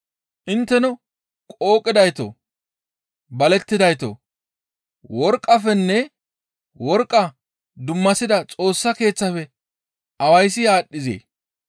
Intteno qooqidaytoo! Balettidaytoo! Worqqafenne worqqa dummasida Xoossa Keeththafe awayssi aadhdhizee?